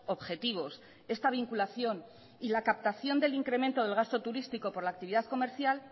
objetivos esta vinculación y la captación del incremento del gasto turístico por la actividad comercial